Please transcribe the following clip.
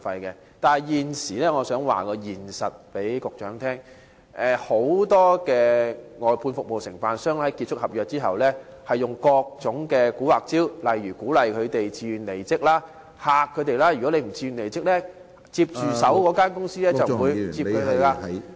可是，我想告訴局長，現實是很多外判商在合約結束後，便會使出各種"蠱惑"招數，例如鼓勵員工自願離職，又或威嚇員工，指如他們不自願離職，接手的公司即不會繼續聘用他們......